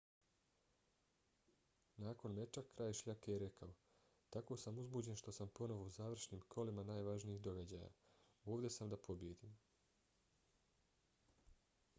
nakon meča kralj šljake je rekao: tako sam uzbuđen što sam ponovo u završnim kolima najvažnijih događaja. ovdje sam da pobijedim.